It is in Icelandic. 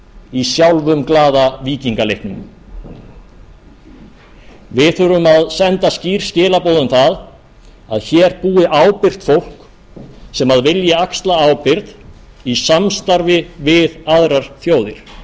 í sjálfumglaða víkingaleiknum við þurfum að senda skýr skilaboð um það að hér búi ábyrgt fólk sem vilji axla ábyrgð í samstarfi við aðrar þjóðir